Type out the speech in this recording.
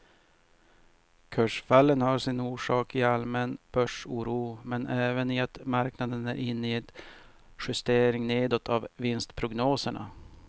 Kursfallen har sin orsak i allmän börsoro men även i att marknaden är inne i en justering nedåt av vinstprognoserna.